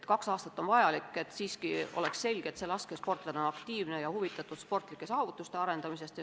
Kaks aastat on piisav ajavahemik, et oleks selge, kas laskesportlane on aktiivne ja huvitatud sportlikest saavutustest.